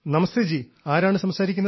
നമസ്തേ ജി ആരാണ് സംസാരിക്കുന്നത്